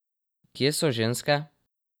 Kje so ženske?